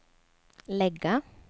lägga